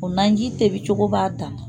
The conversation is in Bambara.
O manji tobicogo b'a ta